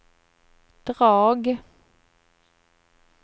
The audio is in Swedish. drag